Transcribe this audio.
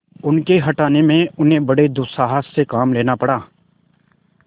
उनके हटाने में उन्हें बड़े दुस्साहस से काम लेना पड़ा